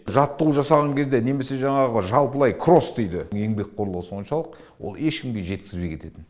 жаттығу жасаған кезде немесе жаңағы жалпылай кросс дейді еңбекқорлығы соншалық ол ешкімге жеткізбей кететін